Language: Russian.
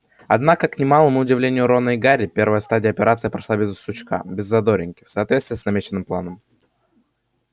однако к немалому удивлению рона и гарри первая стадия операции прошла без сучка без задоринки в соответствии с намеченным планом